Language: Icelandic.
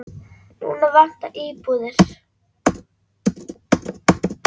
Núna vantar íbúðir.